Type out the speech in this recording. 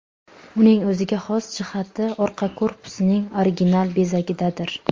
Uning o‘ziga xos jihati orqa korpusining original bezagidadir.